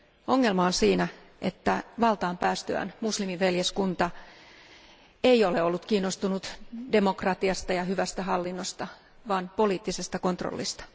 Ongelma on siinä, että valtaan päästyään muslimiveljeskunta ei ole ollut kiinnostunut demokratiasta ja hyvästä hallinnosta vaan poliittisesta kontrollista.